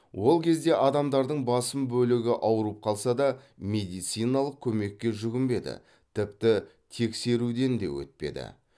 ол кезде адамдардың басым бөлігі аурып қалса да медициналық көмекке жүгінбеді тіпті тексеруден де өтпеді